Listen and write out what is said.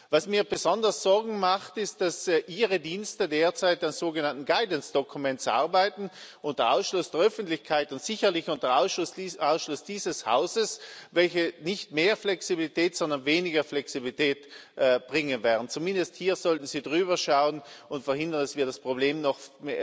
Was mir besonders Sorgen macht, ist, dass Ihre Dienste derzeit an sogenannten Guidance Documents arbeiten, und zwar unter Ausschluss der Öffentlichkeit und sicherlich unter Ausschluss dieses Hauses, welche nicht mehr Flexibilität, sondern weniger Flexibilität bringen werden. Zumindest hier sollten Sie drüberschauen und verhindern, dass wir das Problem noch